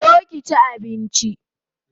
Zo ki chi abinchi